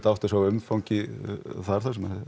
að átta sig á umfangi þar þar sem